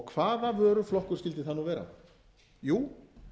hvaða vöruflokkur skyldi það nú vera jú